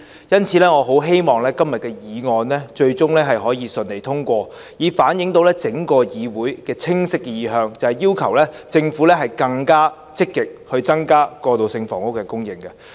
因此，我很希望今天的議案最終可以順利通過，以反映整個議會的清晰意向，就是要求政府更積極增加過渡性房屋的供應。